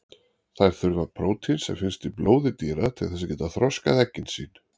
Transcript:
Þær þurfa prótín sem finnst í blóði dýra til þess að geta þroskað eggin sín.